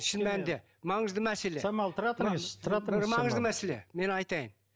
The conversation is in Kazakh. шын мәнінде маңызды мәселе самал тұра тұрыңыз тұра тұрыңыз маңызды мәселе мен айтайын